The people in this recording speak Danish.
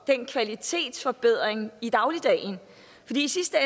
den kvalitetsforbedring i dagligdagen i sidste